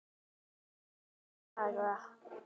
Hvaða dag?